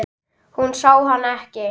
Hún sá hann ekki.